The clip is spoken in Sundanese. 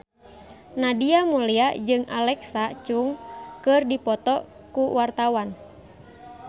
Nadia Mulya jeung Alexa Chung keur dipoto ku wartawan